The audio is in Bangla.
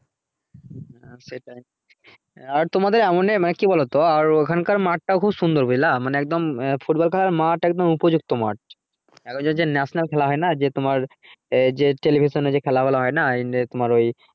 হ্যাঁ সেটাই আর তোমাদের এমনে মানে কি বলতো আর ওখান কার মাঠ টাও খুব সুন্দর বুঝলা মানে একদম football খেলার মাঠ একদম উপযুক্ত মাঠ তার পর যে national খেলা হয় না যে তোমার television এ খেলা গুলো হয়না